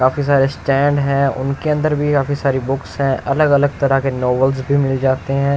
काफी सारे स्टैंड हैं उनके अंदर भी काफी सारी बुक्स हैं अलग-अलग तरह के नोवेल्स भी मिल जाते हैं।